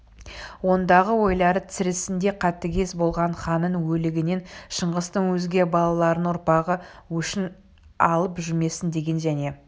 ондағы ойлары тірісінде қатігез болған ханның өлігінен шыңғыстың өзге балаларының ұрпағы өшін алып жүрмесін деген және